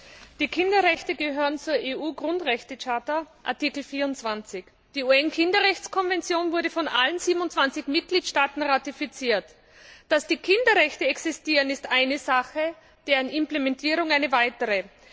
Frau Präsidentin! Die Kinderrechte gehören zur EU Grundrechtecharta, Artikel 24. Die UN Kinderrechtskonvention wurde von allen 27 Mitgliedstaaten ratifiziert. Dass die Kinderrechte existieren, ist eine Sache, deren Implementierung eine andere.